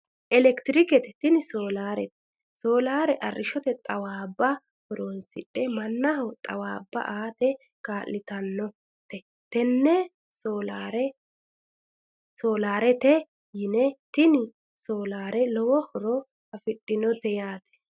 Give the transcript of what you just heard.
Elektironikse tini soolaarete soolaare arrishshote xawaabba horonsidhe mannaho xawaabba aate kaa'litannota tenne soolaarete yine tini soolaare lowo horo afidhinote yaate